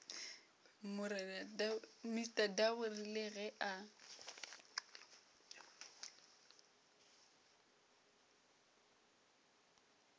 mr double rile ge a